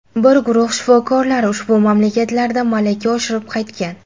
Bir guruh shifokorlar ushbu mamlakatlarda malaka oshirib qaytgan.